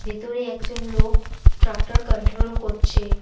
ভেতরে একজন লোক ট্রাক্টর কন্ট্রোল করছে।